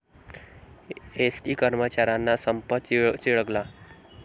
ST कर्मचाऱ्यांचा संप चिघळला